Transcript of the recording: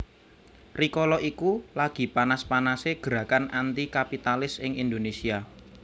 Rikala iku lagi panas panasé gerakan anti kapitalis ing Indonesia